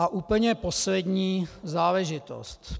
A úplně poslední záležitost.